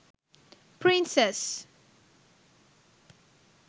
princess